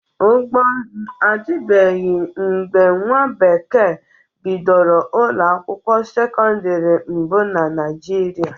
Ụgbọ nzụ adịbeghị mgbe nwa bekee bidoro ụlọ akwụkwọ sekọndịrị mbụ na Naịjịrịa.